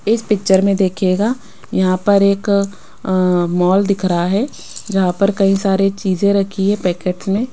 इस पिक्चर में देखिएगा यहां पर एक अह मॉल दिख रहा है जहां पर कई सारे चीजें रखी है पैकेट्स में।